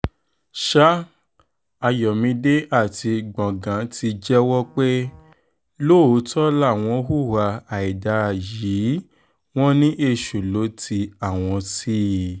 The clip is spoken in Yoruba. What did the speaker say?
sa ayọ̀mídé àti gbọ̀ngàn ti jẹ́wọ́ pé lóòótọ́ làwọn hùwà àìdá yìí wọn ni èṣù lọ ti àwọn sí i